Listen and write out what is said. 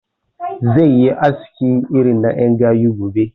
Zai yi aski irin na ƴan gayu gobe